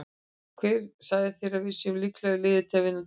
Hver sagði þér að við séum líklegasta liðið til að vinna deildina?